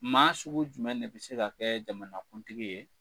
Maa sugu jumɛn de bɛ se ka kɛ jamanakuntigi ye?